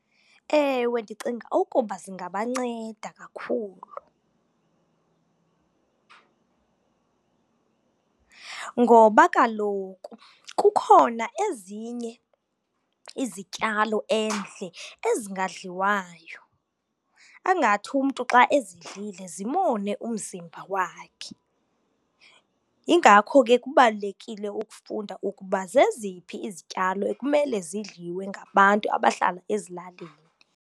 Ewe, ndicinga ukuba zingabanceda kakhulu ngoba kaloku kukhona ezinye izityalo endle ezingadliwayo angathi umntu xa ezidlile zimone umzimba wakhe. Yingako ke kubalulekile ukufunda ukuba zeziphi izityalo ekumele zidliwe ngabantu abahlala ezilalini.